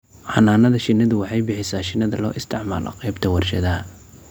Xannaanada shinnidu waxay bixisaa shinnida loo isticmaalo qaybta warshadaha.